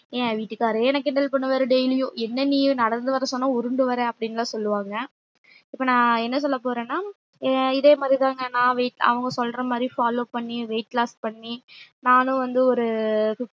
என் வீட்டுகாரே என்ன கிண்டல் பண்ணுவாரு daily யும் என்ன நீ நடந்து வர சொன்ன உருண்டு வர அப்டின்லா சொல்லுவாங்க இப்ப நா என்ன சொல்ல போறேனா இதே மாறி தாங்க நா weight அவங்க சொல்ற மாறி follow பண்ணி weight loss பண்ணி நானும் வந்து ஒரு